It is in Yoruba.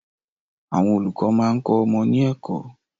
Àwọn olùkọ́ máa ń kọ ọmọ ní ẹ̀kọ́